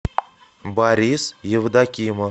борис евдокимов